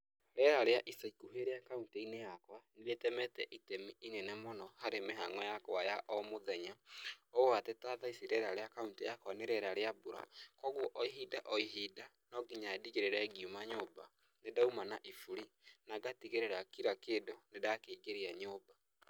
Rĩera rĩa ica ikuhĩ rĩa kauntĩ-inĩ yakwa nĩ rĩtemete itemi inene mũno harĩ mĩhang'o yakwa ya o mũthenya ũũ atĩ ta tha ici rĩera rĩa kaũntĩ yakwa nĩ rĩera rĩa mbura, kwoguo o ihinda o ihinda no nginya ndĩgĩrĩre ngiuma nyũmba nĩ ndauma na iburi, na ngatigĩrĩra kira kĩndũ, nĩ ndakĩingĩria nyũmba.